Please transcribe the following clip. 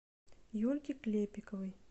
юльке клепиковой